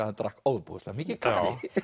hann drakk ofboðslega mikið kaffi